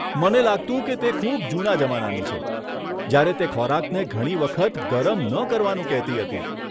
મને લાગતું કે તે ખૂબ જૂના જમાનાની છે, જ્યારે તે ખોરાકને ઘણી વખત ગરમ ન કરવાનું કહેતી હતી.